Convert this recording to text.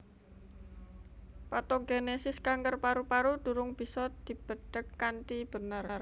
Patogenesis kanker paru paru durung bisa dibedhek kanthi bener